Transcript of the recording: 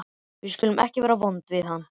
Við skulum ekki vera vond við hann.